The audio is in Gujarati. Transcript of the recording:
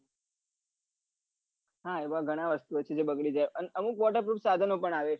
હા એવી ઘણી વસ્તુ જે બગડી ગયી અમુક water proof સાઘનો પન આવે છે